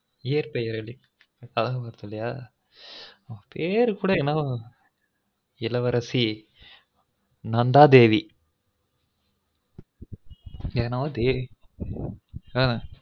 இயற்பெயர் அதா பேர் கூட என்னவோ இளவரசி நந்தாதேவிஎன்னவொ தேவி ஆ